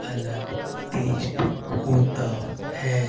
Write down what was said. अलग टेस्ट होता है।